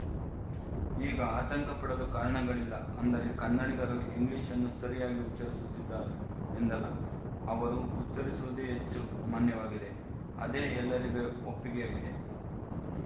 ಈಗ ಆತಂಕ ಪಡಲು ಕಾರಣಗಳಿಲ್ಲ ಅಂದರೆ ಕನ್ನಡಿಗರು ಇಂಗ್ಲಿಶ್‌ನ್ನು ಸರಿಯಾಗಿ ಉಚ್ಚರಿಸುತ್ತಿದ್ದಾರೆ ಎಂದಲ್ಲ ಅವರು ಉಚ್ಚರಿಸುವುದೇ ಹೆಚ್ಚು ಮಾನ್ಯವಾಗಿದೆ ಅದೇ ಎಲ್ಲರಿಗೂ ಒಪ್ಪಿಗೆಯಾಗಿದೆ